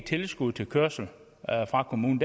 tilskud til kørsel fra kommunen